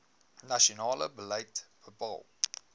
nasionale beleid bepaal